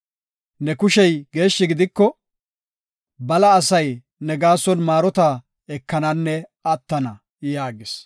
Ne kushey geeshshi gidiko, bala asay ne gaason maarota ekananne attana” yaagis.